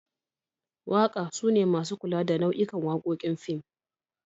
Waka sune masu kula da nau'ikan wakokin a fim.